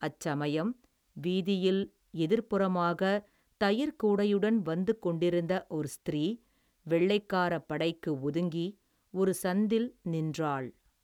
அச்சமயம், வீதியில், எதிர்ப்புறமாக தயிர்க் கூடையுடன் வந்து கொண்டிருந்த ஒரு ஸ்திரீ, வெள்ளைக்காரப் படைக்கு ஒதுங்கி, ஒரு சந்தில் நின்றாள்.